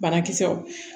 Banakisɛw